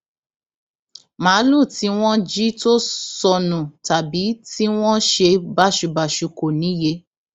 máàlùú tí wọn jí tó sọnù tàbí tí wọn ṣe báṣubàṣu kò níye